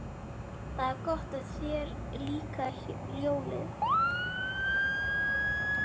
Það er gott að þér líkaði ljóðið.